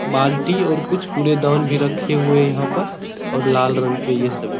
बाल्टी और कुछ कूड़ेदान भी रखे हुए यहाँ पर और लाल रंग के ये सभी --